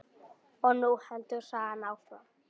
Og nú heldur sagan áfram!